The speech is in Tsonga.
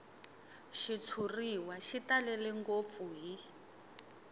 xitshuriwa xi talele ngopfu hi